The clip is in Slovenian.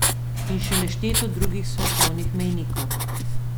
In še nešteto drugih svetovnih mejnikov.